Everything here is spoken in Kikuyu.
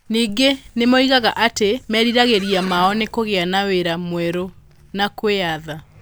Ningĩ nĩ moigaga atĩ meriragĩria mao nĩ kũgĩa na wĩra mwerũ na kwĩyatha